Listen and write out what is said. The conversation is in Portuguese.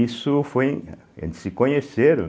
Isso foi, eles se conheceram,